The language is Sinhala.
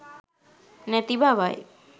නැති බවයි.